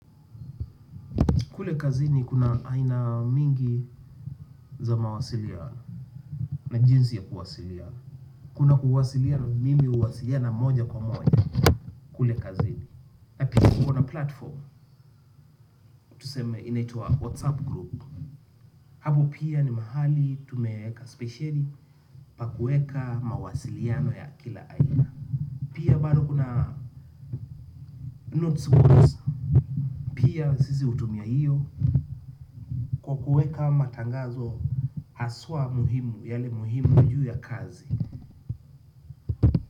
Kule kazi ni kuna aina mingi za mawasiliano na jinsi ya kuwasiliana. Kuna kuwasiliano mimi uwasiliano moja kwa moja kule kazi ni. Na pia tukona platform tuseme inaitwa WhatsApp group. Hapo pia ni mahali tumeweka speshieli pa kuweka mawasiliano ya kila aina. Pia bado kuna notes boards pia sisi hutumia hiyo kwa kuweka matangazo haswa muhimu yale muhimu juu ya kazi.